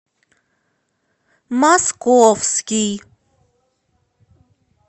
московский